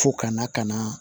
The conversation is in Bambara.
Fo ka na ka na